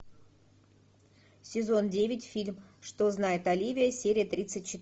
сезон девять фильм что знает оливия серия тридцать четыре